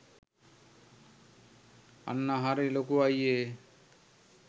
අන්න හරි ලොකු අයියේ.